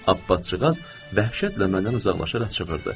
Abbatcıqaz dəhşətlə məndən uzaqlaşaraq çığırdı.